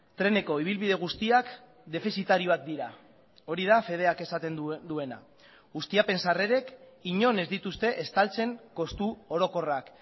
treneko ibilbide guztiak defizitarioak dira hori da fedeak esaten duena ustiapen sarrerek inon ez dituzte estaltzen kostu orokorrak